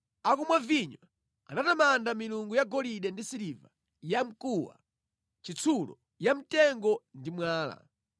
Akumwa vinyo, anatamanda milungu yagolide ndi siliva, yamkuwa, chitsulo, yamtengo ndi mwala.